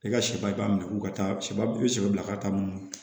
I ka sɛba i b'a minɛ k'u ka taa sɛba i be sɛbɛ bila ka taa mun na